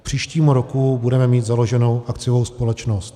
K příštímu roku budeme mít založenou akciovou společnost.